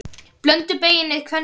Blönduð beyging er tvenns konar